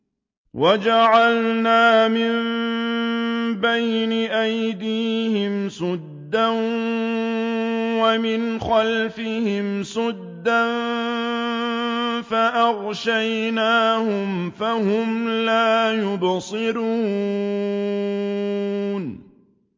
وَجَعَلْنَا مِن بَيْنِ أَيْدِيهِمْ سَدًّا وَمِنْ خَلْفِهِمْ سَدًّا فَأَغْشَيْنَاهُمْ فَهُمْ لَا يُبْصِرُونَ